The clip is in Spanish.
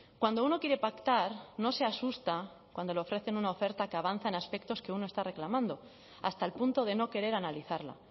cuando uno quiere pactar no se asusta cuando le ofrecen una oferta que avanza en aspectos que uno está reclamando hasta el punto de no querer analizarla